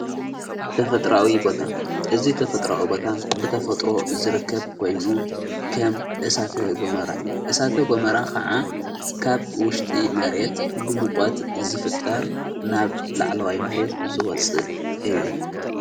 ተፈጥራዊ ቦታ እዙ ተፈጥራዊ ቦታ ብተፈጥሮ ዝርከብ ኮይኑ ከም እሳተ ጐመራ እዩ እሳተ ጐመራ ኸዓ ካብ ውሽጢ መሬት ብምቖት ዝፍጠር ናብ ላዕለዋይ መሬት ዝወፅእ እዩ።